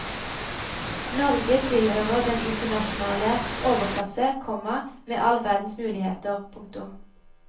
Norge tilhører den internasjonale overklasse, komma med all verdens muligheter. punktum